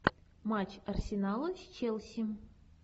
матч арсенала с челси